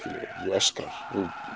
öskrar